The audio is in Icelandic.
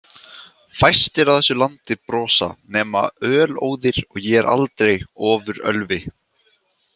Fæstir á þessu landi brosa nema ölóðir og ég er aldrei ofurölvi.